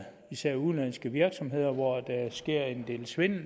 især udenlandske virksomheder hvor der sker en del svindel